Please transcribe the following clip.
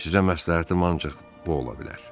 Sizə məsləhətim ancaq bu ola bilər.